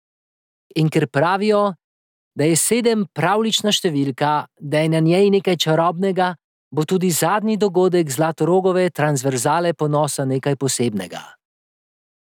In ker pravijo, da je sedem pravljična številka, da je na njej nekaj čarobnega, bo tudi zadnji dogodek Zlatorogove transverzale ponosa nekaj posebnega.